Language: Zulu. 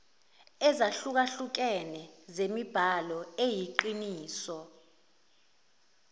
ezahlukehlukene zemibhalo eyiqiniso